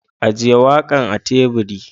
Ajiye wakan a teburi.